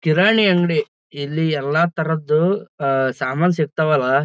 ಕಿರಾಣಿ ಅಂಗಡಿ ಇಲ್ಲಿ ಎಲ್ಲ ತರದ್ದು ಸಾಮಾನ್ ಸಿಗ್ತಾವಲ್ಲ--